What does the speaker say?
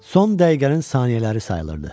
Son dəqiqənin saniyələri sayılırdı.